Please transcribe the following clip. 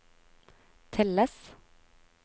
telles